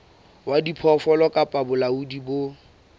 wa diphoofolo kapa bolaodi bo